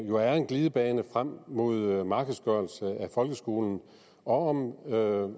jo er en glidebane frem mod en markedsgørelse af folkeskolen og